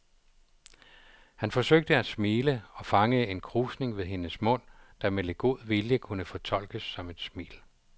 Han forsøgte at smile og fangede en krusning ved hendes mund, der med lidt god vilje kunne fortolkes som et smil.